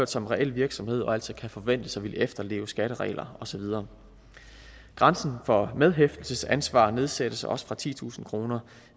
som reelle virksomheder og altså kan forventes at ville efterleve skatteregler og så videre grænsen for medhæftelsesansvar nedsættes også fra titusind kroner